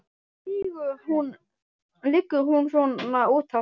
Af hverju liggur hún svona út af?